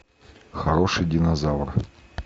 хороший динозавр